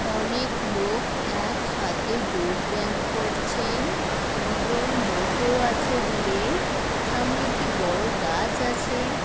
অনেক লোক একসাথে যোগ ব্যায়াম করছেন-ন । দুজন বসেও আছে দূরে-এ । সামনে একটি বড়ো গাছ আছে।